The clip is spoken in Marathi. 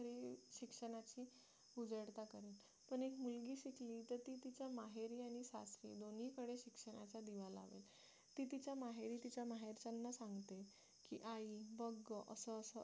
तुझ्या माहेरी आणि सासरी दोन्हीकडे ते शिक्षणाचा दिवा लागेल तिच्या माहेरी तिच्या माहेरच्यांना सांगते की आई बघा असं असं असते